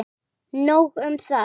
Nóg um það.